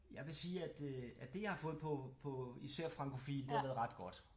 Jeg vil sige at øh at det jeg har fået på på især Franchophile det har været ret godt